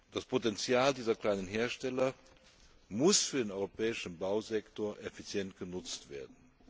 Das Potenzial dieser kleinen Hersteller muss für den europäischen Bausektor effizient genutzt werden.